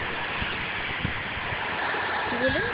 কী বললেন?